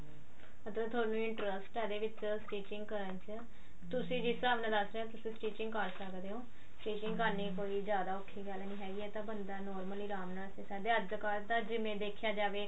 ਮਤਲਬ ਯੁਹਾਨੂੰ interest ਆ ਇਹਦੇ ਵਿੱਚ stitching ਕਰਨ ਦੇ ਵਿੱਚ ਤੁਸੀਂ ਜਿਸ ਹਿਸਾਬ ਨਾਲ ਦੱਸ ਰਹੇ ਹੋ ਤੁਸੀਂ stitching ਕਰ ਸਕਦੇ ਹੋ stitching ਕਰਨੀ ਕੋਈ ਜਿਆਦਾ ਔਖੀ ਗੱਲ ਨੀ ਹੈਗੀ ਇਹ ਤਾਂ ਬੰਦਾ ਨਾਲ normally ਰਾਮ ਨਾਲ ਕਹਿੰਦੇ ਅੱਜਕਲ ਤਾਂ ਜਿਵੇਂ ਦੇਖਿਆ ਜਾਵੇ